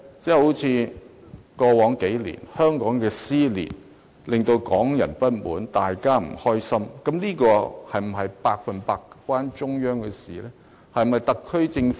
正如在過去數年，香港的撕裂令港人不滿，大家都不高興，但這情況是否百分百與中央政府有關？